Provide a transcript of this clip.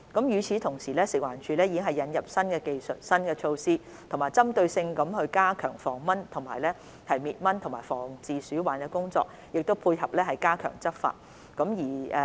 與此同時，食環署已引入新技術和新措施，針對性加強防蚊滅蚊及防治鼠患的工作，並配合加強執法。